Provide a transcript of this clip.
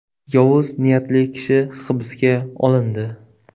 Yovuz niyatli kishi hibsga olindi.